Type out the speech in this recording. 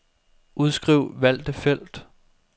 Udskriv valgte felt.